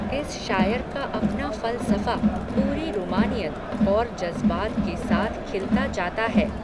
इस शायर का अपना फ़ल सफ़ा, पूरी रूमानियत, और जज़्बात के साथ खिलता जाता है